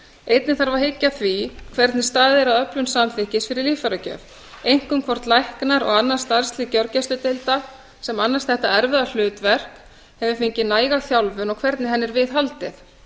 einnig þarf að hyggja að því hvernig staðið er að öflun samþykkis fyrir líffæragjöf einkum hvort læknar og annað starfslið gjörgæsludeilda sem annast þetta erfiða hlutverk hafi fengið næga þjálfun og hvernig henni er viðhaldið